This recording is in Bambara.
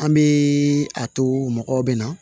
An bɛ a to mɔgɔw bɛ na